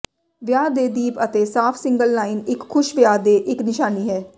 ਵਿਆਹ ਦੇ ਦੀਪ ਅਤੇ ਸਾਫ ਸਿੰਗਲ ਲਾਈਨ ਇੱਕ ਖੁਸ਼ ਵਿਆਹ ਦੇ ਇੱਕ ਨਿਸ਼ਾਨੀ ਹੈ